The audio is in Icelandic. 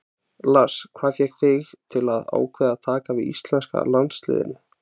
Lars: Hvað fékk þig til að ákveða að taka við íslenska landsliðinu?